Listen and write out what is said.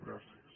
gràcies